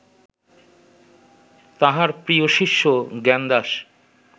তাঁহার প্রিয় শিষ্য জ্ঞানদাস